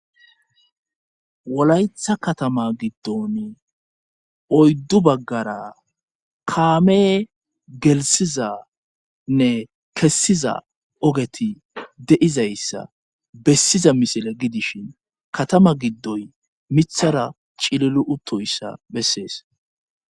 wolaytha katama giddon oyddu baggara kaame gelsizanne kessiza ogeti deizayssa bessiza misile gidishin katama giddoy mithara cililu utoyssa bessees